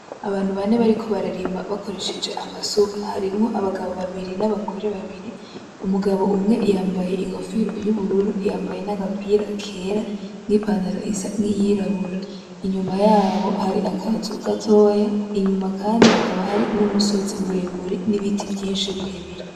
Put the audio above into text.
Abantu bane bariko bararima bakoresheje amasuka, harimwo abagabo babiri n'abagore babiri, umugabo umwe yambaye inkofero y'ubururu; yambaye n'agapira kera; n'ipantaro isa nkiyirabura, inyuma yabo hari akazu gatoya, inyuma kandi hakaba hari n'umusozi muremure n'ibiti vyinshi birebire.